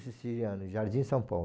Siciliana, Jardim São Paulo.